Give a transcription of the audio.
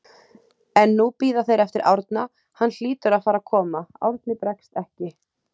En nú bíða þeir eftir Árna, hann hlýtur að fara að koma, Árni bregst ekki.